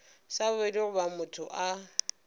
sa bobedi goba motho a